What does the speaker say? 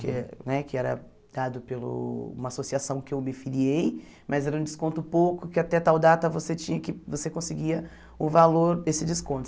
que né que era dado pelo uma associação que eu me filiei, mas era um desconto pouco, que até tal data você tinha que você conseguia o valor desse desconto.